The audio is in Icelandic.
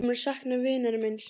Ég mun sakna vinar míns.